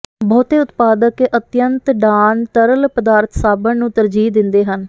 ਬਹੁਤੇ ਉਤਪਾਦਕ ਅਿਤਅੰਤ ਡਾਨ ਤਰਲ ਪਦਾਰਥ ਸਾਬਣ ਨੂੰ ਤਰਜੀਹ ਦਿੰਦੇ ਹਨ